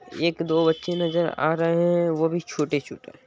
एक दो बच्चे नजर आ रहे हैं वो भी छोटे-छोटे।